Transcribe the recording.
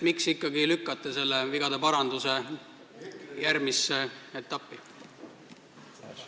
Miks te ikkagi lükkate selle vigade paranduse järgmisse etappi?